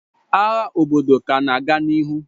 Agha obodo ka na-aga n'ihu.